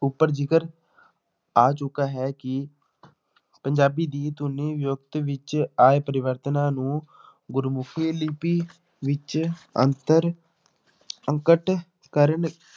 ਉੱਪਰ ਜ਼ਿਕਰ ਆ ਚੁੱਕਾ ਹੈ ਕਿ ਪੰਜਾਬੀ ਦੀ ਧੁਨੀ ਵਿੱਚ ਆਏ ਪਰਿਵਰਤਨਾਂ ਨੂੰ ਗੁਰਮੁਖੀ ਲਿਪੀ ਵਿੱਚ ਅੰਤਰ ਕਰਨ